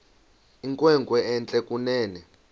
inkwenkwe entle kunene